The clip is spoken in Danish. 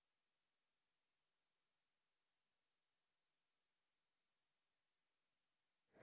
to